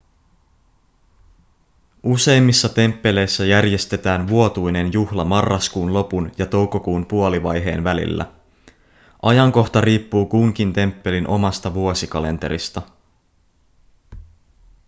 useimmissa temppeleissä järjestetään vuotuinen juhla marraskuun lopun ja toukokuun puolivaiheen välillä ajankohta riippuu kunkin temppelin omasta vuosikalenterista